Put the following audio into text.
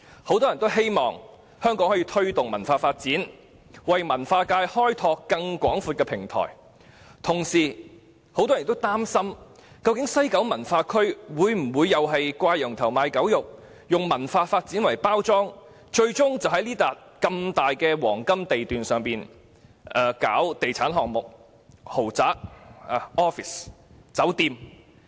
很多人希望香港可以推動文化發展，為文化界開拓更廣闊的平台，但亦同時擔心西九文化區的發展會否"掛羊頭賣狗肉"，以文化發展作包裝，最終只是在這幅廣闊的黃金地段發展地產項目，例如豪宅、辦公室、酒店等。